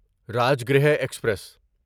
Rajgriha express